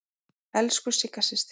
Elsku Sigga systir.